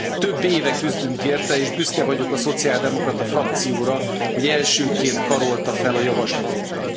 Több éve küzdünk érte, és büszke vagyok a szociáldemokrata frakcióra, hogy elsőként karolta fel a javaslatunkat.